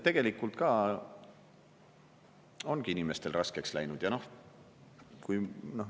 Tegelikult ongi inimestel raskeks läinud.